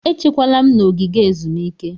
Echekwala m n'ogige ezumike!